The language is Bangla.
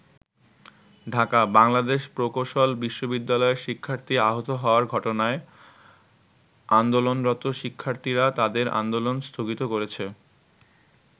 ঢাকা: বাংলাদেশ প্রকৌশল বিশ্ববিদ্যালয়ের শিক্ষার্থী আহত হওয়ার ঘটনায় আন্দোলনরত শিক্ষার্থীরা তাদের আন্দোলন স্থগিত করেছে।